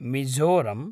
Mizoram